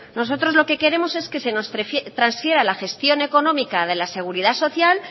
nosotros lo que queremos es que se nos transfiera la gestión económica de la seguridad social